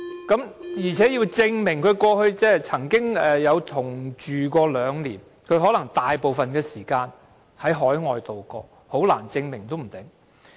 再者，他須證明過去曾與死者同居兩年，而他可能大部分時間在海外度過，說不定難以提出證明。